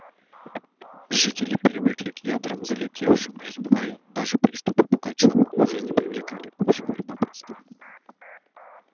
жители привыкли к ядрам залетавшим на их дворы даже приступы пугачёва уже не привлекали общего любопытства